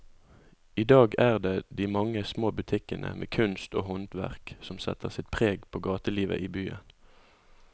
I dag er det de mange små butikkene med kunst og håndverk som setter sitt preg på gatelivet i byen.